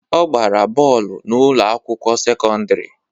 Ọ gbara bọọlụ n'ụlọ akwụkwọ sekọndrị